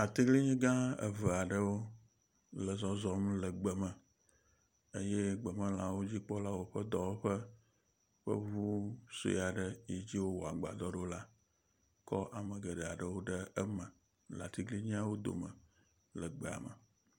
Atiglinyi gã eve aɖewo le zɔzɔm le gbeme eye gbemelãwo dzikpɔlawo woƒe dɔwɔƒe ƒe ŋu sɔe aɖe si dzi wowɔ agbadɔ ɖo la kɔ ame geɖe aɖewo ɖe eme le atiglinyiawo dome le egbea me.